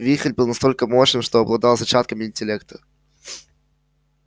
вихрь был настолько мощным что обладал зачатками интеллекта